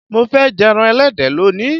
Mo fé̩ je̩ran e̩lé̩dẹ̀ lónìí.